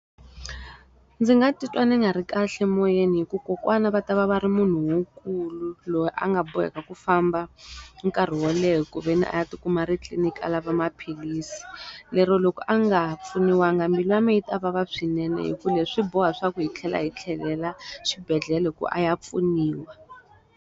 Ndzi nga titwa ni nga ri kahle moyeni hikuva kokwana va ta va va ri munhu lonkulu loyi a nga boheka ku famba, nkarhi wo leha ku ve ni a ya ti kuma ri titliniki a lava maphilisi. Lero loko a nga ha pfuniwa nga mbilu ya mina yi ta vava swinene hikuva leswi boha leswaku hi tlhela hi tlhelela xibedhlele ku a ya pfuniwa.